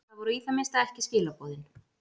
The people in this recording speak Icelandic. Það voru í það minnsta ekki skilaboðin.